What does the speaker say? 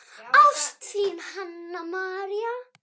Ást, þín, Hanna María.